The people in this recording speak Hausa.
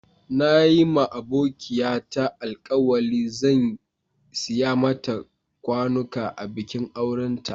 Na yi ma abokiya ta alkawali zan siya mata kwanuka a bikin auren ta.